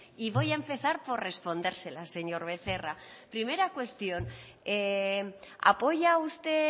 y voy a empezar por respondérselas señor becerra primera cuestión apoya usted